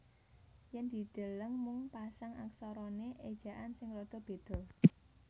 Yen dideleng mung pasang aksarane ejaan sing rada beda